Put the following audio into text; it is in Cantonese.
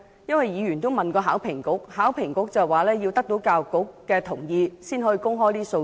有議員曾向考評局查詢，考評局表示須取得教育局同意，才可以公開這些數字。